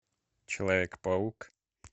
человек паук